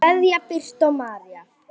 Kveðja, Birta María.